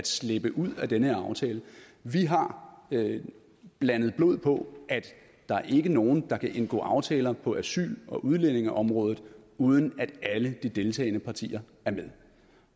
slippe ud af den her aftale vi har blandet blod på at der ikke er nogen der kan indgå aftaler på asyl og udlændingeområdet uden at alle de deltagende partier er med